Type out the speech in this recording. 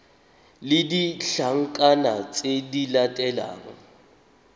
le ditlankana tse di latelang